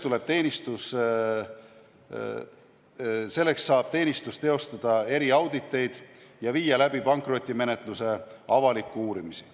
Selleks saab teenistus teha eriauditeid ja pankrotimenetluse avalikke uurimisi.